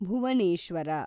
Bhubaneswar